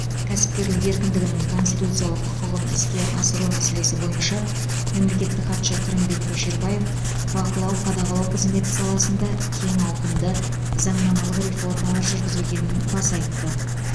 кәсіпкерлік еркіндігінің конституциялық құқығын іске асыру мәселесі бойынша мемлекеттік хатшы қырымбек көшербаев бақылау қадағалау қызметі саласында кең ауқымды заңнамалық реформалар жүргізілгенін баса айтты